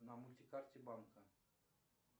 на мультикарте банка